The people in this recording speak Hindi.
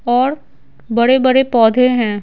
और बड़े-बड़े पौधे हैं।